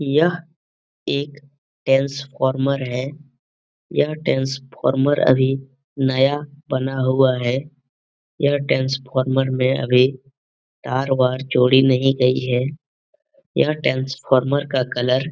यह एक टेंसफॉर्मर है। यह टेंसफॉर्मर अभी नया बना हुआ है। यह टेंसफॉर्मर में अभी तार-वार जोड़ी नहीं गई है। यह टेंसफॉर्मर का कलर --